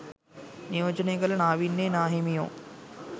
නියෝජනය කළ නාවින්නේ නාහිමියෝ